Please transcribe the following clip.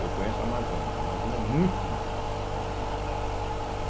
Eu conheço a Amazônia, a Amazônia é muito bonita também, né?